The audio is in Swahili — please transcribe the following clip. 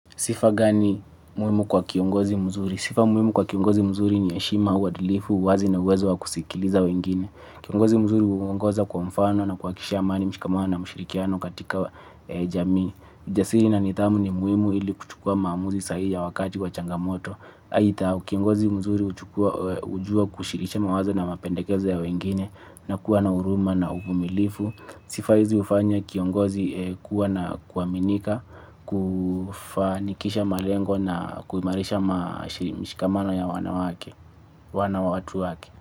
Sifa gani muhimu kwa kiongozi mzuri? Sifa muhimu kwa kiongozi mzuri ni heshima uadilifu, uwazi na uwezo wa kusikiliza wengine. Kiongozi mzuri uongoza kwa mfano na kuhakikisha amani mshikamano na ushirikiano katika jamii. Jasiri na nithamu ni muhimu ili kuchukua maamuzi sahii ya wakati wa changamoto. Aitha, kiongozi mzuri ujua kushiriki mawazo na mapendekezo ya wengine na kuwa na huruma na uvumilifu. Sifa hizi ufanya kiongozi kuwa na kuaminika. Kufanikisha malengo na kuimarisha mshikamano ya wanawatu wake.